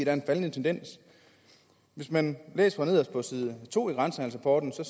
er en faldende tendens hvis man læser nederst på side to i grænsehandelsrapporten kan